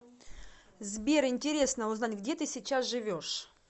сбер интересно узнать где ты сейчас живешь